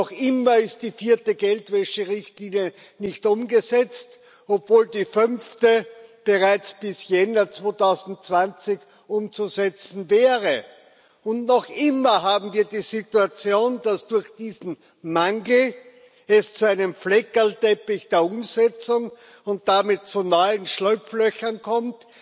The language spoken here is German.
Noch immer ist die vierte Geldwäscherichtlinie nicht umgesetzt, obwohl die fünfte bereits bis Jänner 2020 umzusetzen wäre, und noch immer haben wir die Situation, dass es durch diesen Mangel zu einem Fleckerlteppich der Umsetzung und damit zu neuen Schlupflöchern kommt,